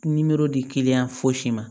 Nimoro di fosi ma